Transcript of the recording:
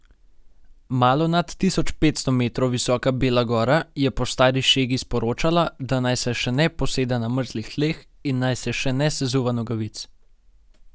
Malo nad tisoč petsto metrov visoka bela gora je po stari šegi sporočala, da naj se še ne poseda na mrzlih tleh in naj se še ne sezuva nogavic.